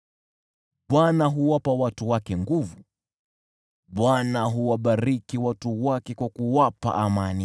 Bwana huwapa watu wake nguvu; Bwana huwabariki watu wake kwa kuwapa amani.